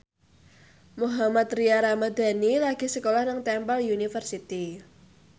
Mohammad Tria Ramadhani lagi sekolah nang Temple University